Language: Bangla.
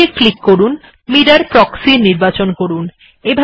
আপডেট্ এ ক্লিক করুন mirrorপ্রক্সি এর নির্বাচন করুন